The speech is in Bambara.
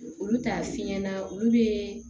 Olu t'a fi ɲɛna olu be